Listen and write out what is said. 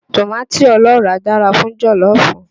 Tòmátì ọlọ́ràá dára fún jọ̀lọ́fù